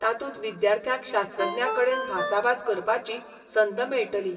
तातूंत विद्यार्थ्यांक शास्त्रज्ञा कडेन भासाभास करपाची संद मेळटली.